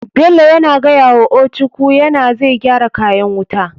Bello yana gayawa ochuku yana zai gyara kayan wuta.